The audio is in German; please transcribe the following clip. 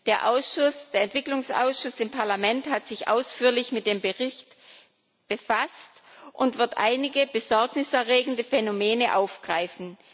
Der Entwicklungsausschuss im Parlament hat sich ausführlich mit dem Bericht befasst und wird einige besorgniserregende Phänomene aufgreifen.